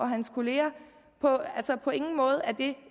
hans kollegaer på ingen måde